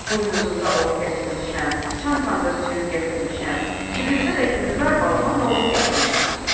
Buynuzumda ot gətirmişəm, çantamda süd gətirmişəm, cibimdə də Gülzar balama noğul gətirmişəm.